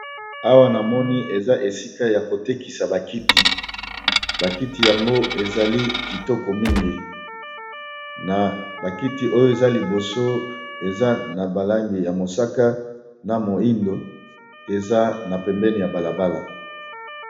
Awa na moni eza esika ya ko tekisa ba kiti, ba kiti yango ezali kitoko mingi na ba kiti oyo eza liboso eza na ba langi ya mosaka na moyindo eza na pembeni ya bala bala.